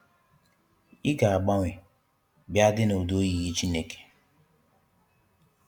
I ga agbanwe bia di n'udi oyiyi Chineke